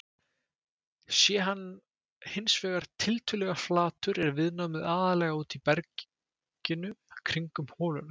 Sé hann hins vegar tiltölulega flatur er viðnámið aðallega úti í berginu kringum holuna.